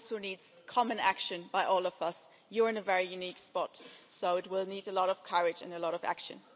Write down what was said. It also needs common action by all of us. You are in a very unique spot, so it will need a lot of courage and a lot of action.